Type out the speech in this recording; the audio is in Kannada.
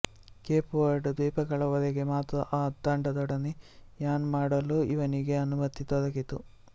ಕೇಪ್ ವರ್ಡ್ ದ್ವೀಪಗಳ ವರೆಗೆ ಮಾತ್ರ ಆ ತಂಡದೊಡನೆ ಯಾನ್ ಮಾಡಲು ಇವನಿಗೆ ಅನುಮತಿ ದೊರಕಿತು